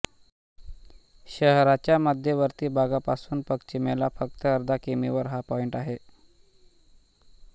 शहराच्या मध्यवर्ती भागापासून पश्चिमेला फक्त अर्धा किमी वर हा पॉइण्ट आहे